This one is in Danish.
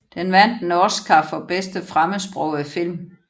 Den vandt en Oscar for bedste fremmedsprogede film